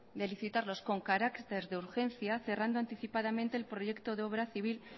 de licitarlos con carácter de urgencia cerrando anticipadamente el proyecto de obra civil